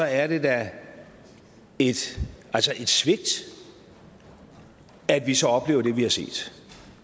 er det da et svigt at vi så oplever det vi har set